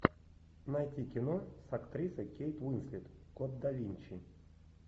найти кино с актрисой кейт уинслет код да винчи